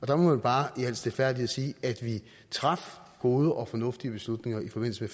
der må man bare i al stilfærdighed sige at vi traf gode og fornuftige beslutninger i forbindelse